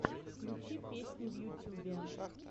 включи песни в ютюбе